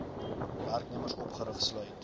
werknemers opgerig sluit